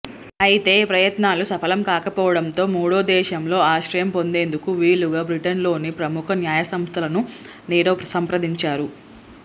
అయితే ఈ ప్రయత్నాలు సఫలం కాకపోవడంతో మూడో దేశంలో ఆశ్రయం పొందేందుకు వీలుగా బ్రిటన్లోని ప్రముఖ న్యాయసంస్థలను నీరవ్ సంప్రదించారు